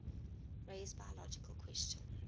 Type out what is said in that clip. raise biological questions